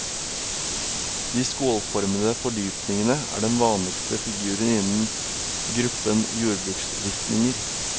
De skålformede fordypningene er den vanligste figuren innen gruppen jordbruksristninger.